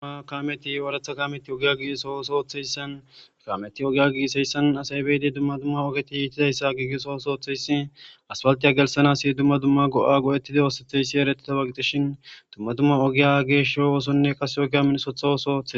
Du kameti ooratha kameti ogiya gisosooththeyssan kameti ogiya giiseyssan asaybeyide dumma dumma ogeti yiitidayssa giigesosooththeyssi aspaltiya gelsanasi dumma dumma go'a go'ettidi oosatheyssi eretida baggitishin dumma dumma ogiya geeshsho oosonne kase ogiya minsotha woso othe